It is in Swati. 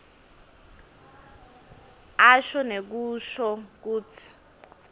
asho nekusho kutsi